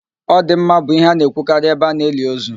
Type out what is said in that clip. "Ọ dị mma" bụ ihe a na-ekwukarị ebe ana-eli ozu